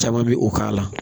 Caman bɛ o k'a la